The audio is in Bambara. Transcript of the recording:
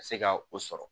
Ka se ka o sɔrɔ